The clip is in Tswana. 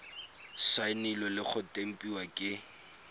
saenilwe le go tempiwa ke